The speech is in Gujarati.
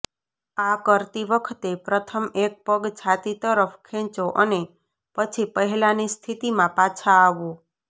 આ કરતી વખતે પ્રથમ એક પગ છાતી તરફ ખેંચો અને પછી પહેલાની સ્થિતિમાં પાછા આવો